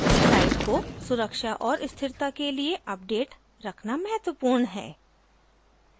site को सुरक्षा और स्थिरता के लिए अपडेट रखना महत्वपूर्ण है